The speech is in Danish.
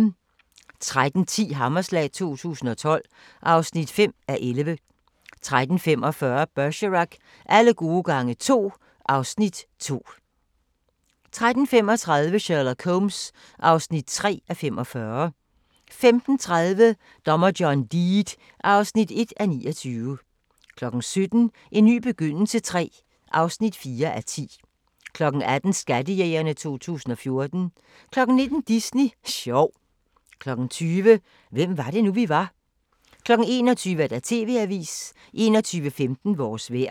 13:10: Hammerslag 2012 (5:11) 13:45: Bergerac: Alle gode gange to (Afs. 2) 14:35: Sherlock Holmes (3:45) 15:30: Dommer John Deed (1:29) 17:00: En ny begyndelse III (4:10) 18:00: Skattejægerne 2014 19:00: Disney sjov 20:00: Hvem var det nu, vi var? 21:00: TV-avisen 21:15: Vores vejr